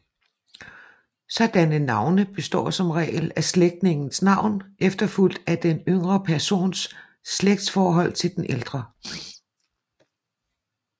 Sådanne navne består som regel af slægtningens navn efterfulgt af den yngre persons slægtsforhold til den ældre